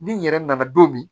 Ni n yɛrɛ nana don min